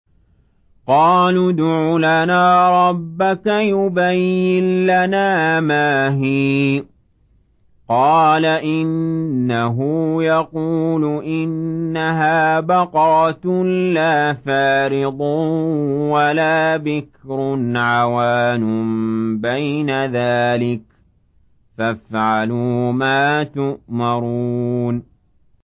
قَالُوا ادْعُ لَنَا رَبَّكَ يُبَيِّن لَّنَا مَا هِيَ ۚ قَالَ إِنَّهُ يَقُولُ إِنَّهَا بَقَرَةٌ لَّا فَارِضٌ وَلَا بِكْرٌ عَوَانٌ بَيْنَ ذَٰلِكَ ۖ فَافْعَلُوا مَا تُؤْمَرُونَ